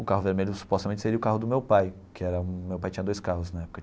O carro vermelho supostamente seria o carro do meu pai, que era um meu pai tinha dois carros na época.